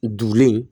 Dulen